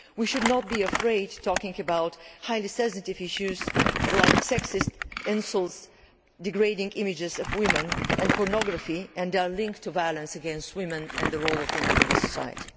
We should not be afraid of talking about highly sensitive issues such as sexist insults, degrading images of women and pornography and their link to violence against women and the role of women in society.